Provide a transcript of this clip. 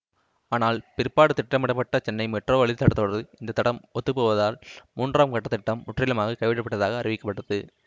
ஆனால் பிற்பாடு திட்டமிடப்பட்ட சென்னை மெட்ரோ வழித்தடத்தோடு இந்த தடம் ஒத்துப்போவதால் மூன்றாம் கட்டத்திட்டம் முற்றிலுமாக கைவிடப்பட்டதாக அறிவிக்கப்பட்டது